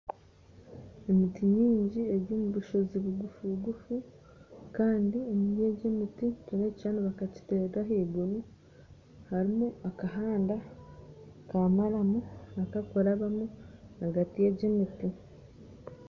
Emiiti maingi eri omu bushoozi bugufu bugufu kandi omuri egy'emitii nitureeba ekishuushani bakakiterera ahaiguru harimu akahanda k'amaramu akakurabamu ahagati y'egy'emiiti